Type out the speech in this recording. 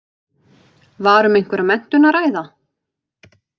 Var um einhverja menntun að ræða?